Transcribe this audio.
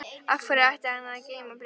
Af hverju ætti hann að geyma bréfið þar?